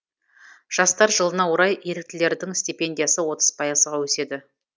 жастар жылына орай еріктілердің стипендиясы отыз пайызға өседі